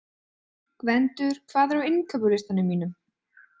Gvendur, hvað er á innkaupalistanum mínum?